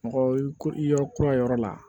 Mɔgɔ i ko i yɔrɔ kura yɔrɔ la